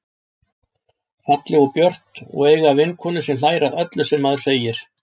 Falleg og björt og eiga vinkonu sem hlær að öllu sem maður segir.